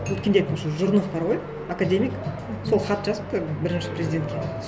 өткенде айтпақышы жүрінов бар ғой академик сол хат жазыпты бірінші президентке